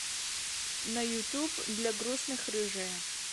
на ютуб длягрустных рыжая